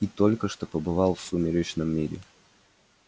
и только что побывал в сумеречном мире